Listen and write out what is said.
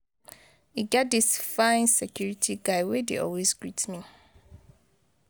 E get dis fine security guy wey dey always greet me.